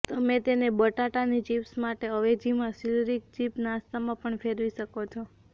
તમે તેને બટાટાની ચીપ્સ માટે અવેજીમાં સીલરીક ચિપ નાસ્તામાં પણ ફેરવી શકો છો